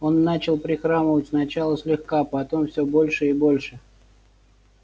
он начал прихрамывать сначала слегка потом все больше и больше